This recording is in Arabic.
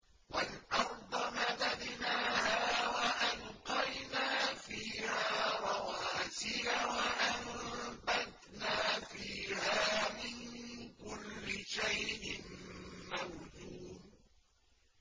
وَالْأَرْضَ مَدَدْنَاهَا وَأَلْقَيْنَا فِيهَا رَوَاسِيَ وَأَنبَتْنَا فِيهَا مِن كُلِّ شَيْءٍ مَّوْزُونٍ